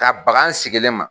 Ka baga n sigilen ma!